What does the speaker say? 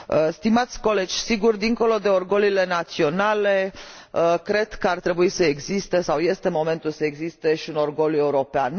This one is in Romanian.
Stimați colegi, sigur, dincolo de orgoliile naționale, cred că ar trebui să existe sau este momentul să existe și un orgoliu european.